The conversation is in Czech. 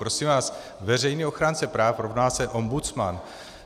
Prosím vás, veřejný ochránce práv rovná se ombudsman.